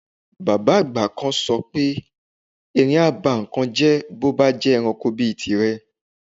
Bàbá àgbà kan so̩ pé erin á bá nǹkan jé̩ bó bá ń je̩ranko bíi tirè̩